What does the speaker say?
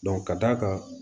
ka d'a kan